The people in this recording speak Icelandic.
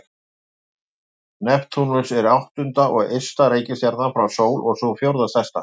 Neptúnus er áttunda og ysta reikistjarnan frá sól og sú fjórða stærsta.